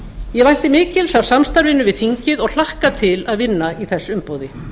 ég vænti mikils af samstarfinu við þingið og hlakka til að vinna í þess umboði